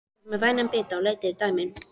Ég fékk mér vænan bita og leit yfir dæmin.